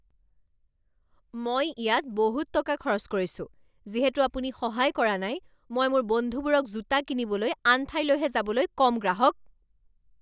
মই ইয়াত বহুত টকা খৰচ কৰিছো। যিহেতু আপুনি সহায় কৰা নাই মই মোৰ বন্ধুবোৰক জোতা কিনিবলৈ আন ঠাইলৈহে যাবলৈ ক'ম গ্ৰাহক